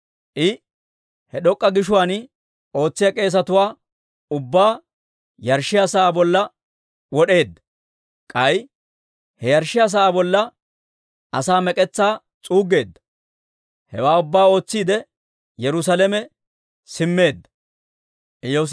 I he d'ok'k'a gishuwaan ootsiyaa k'eesetuwaa ubbaa yarshshiyaa sa'aa bolla wod'eedda; k'ay he yarshshiyaa sa'aa bolla asaa mek'etsaa s'uuggeedda. Hewaa ubbaa ootsiide, Yerusaalame simmeedda.